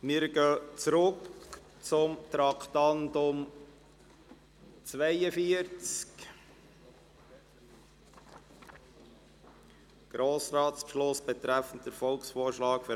Wir kommen zurück zum Traktandum 42, «Grossratsbeschluss betreffend den Volksvorschlag «